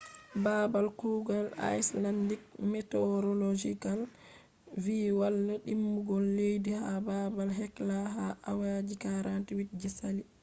babal kugal icelandic meteorological vi walla dimbugo leddi ha babal hekla ha awa ji 48 je sali